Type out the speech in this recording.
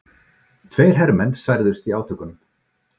Tveir hermenn særðust í átökunum